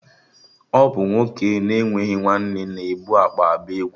Ọ bụ nwoke na-enweghị nwanne na ebu akpa agba egwu